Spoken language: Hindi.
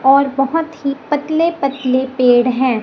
और बहुत ही पतले पतले पेड़ है।